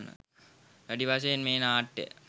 වැඩි වශයෙන් මේ නාට්‍ය